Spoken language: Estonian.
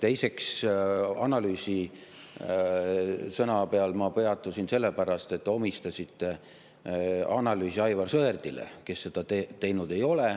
Teiseks, analüüsi sõna peal ma peatusin sellepärast, et te omistasite analüüsi Aivar Sõerdile, kes seda teinud ei ole.